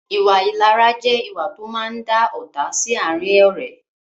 Ìwà ìlara jẹ ìwà to máa ń dá ọ́ta sì àárín ọ̀rẹ́